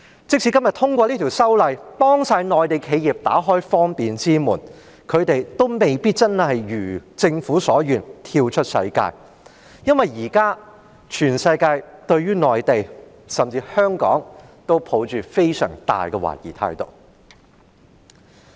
即使今天通過《條例草案》，幫所有內地企業打開方便之門，他們亦未必真的一如政府所願，能夠跳出世界，因為現在全世界對於內地甚至香港，都抱着非常大的懷疑。